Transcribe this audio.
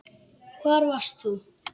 Hvar varst þú?